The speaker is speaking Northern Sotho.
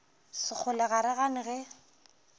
sekgole ga re gane ge